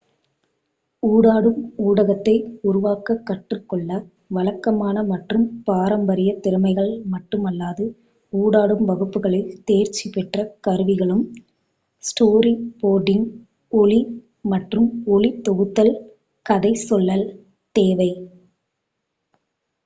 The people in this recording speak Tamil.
ஊடாடும் ஊடகத்தை உருவாக்கக் கற்றுக் கொள்ள வழக்கமான மற்றும் பாரம்பரிய திறமைகள் மட்டுமல்லாது ஊடாடும் வகுப்புகளில் தேர்ச்சி பெற்ற கருவிகளும் ஸ்டோரி போர்டிங் ஒலி மற்றும் ஒளி தொகுத்தல் கதை சொல்லல் தேவை